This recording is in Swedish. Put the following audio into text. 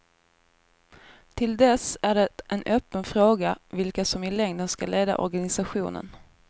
Till dess är det en öppen fråga vilka som i längden ska leda organisationen.